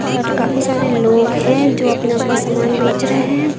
और काफी सारे लोग हैं जो अपना अपना सामान बेच रहे हैं।